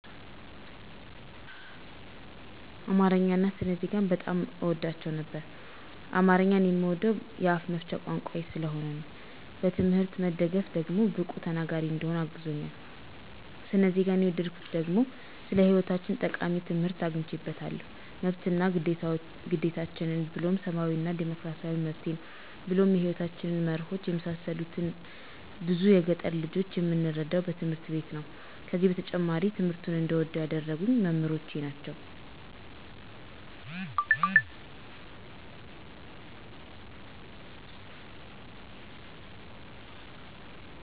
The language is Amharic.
አማረኛን አና ስነ ዜጋን በጣም አወዳቸው ነበር። አማረኛን የምወደዉ የአፋ መፍቻ ቋንቋየ ስለሆነ ነዉ። በትምሕርት መደገፍ ደግሞ ብቁ ተናገሪ እንድሆን አግዞኛል። ሰነ ዜገን የወደድኩት ደግሞ ስለ ሐይወታችን ጠቃሚ ትምሕርት አግኝየበታለሁ መብት አና ግዴታችን ብሉም ሰባዊ እና ዲሞክራሲያዊ መብቴን ብሉም የሕይወታችን መረሆች የመሳሰሉትን ብዙ የገጠር ልጆች የምንረዳዉ በትምህርት ቤት ነዉ። ከዚ በተጨማሪ ትምሕርቱን እንድወደዉ ያደረጉኝ መምሕሮቸ ናቸዉ።